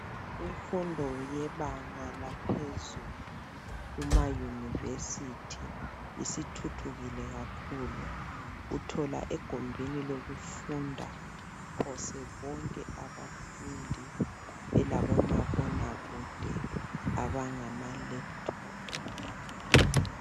Imfundo yebanga laphezulu eyunivesithi isithuthukile kakhulu uthola egumbini lokufunda phose bonke abafundi belabomabonakude abangamalephuthophu.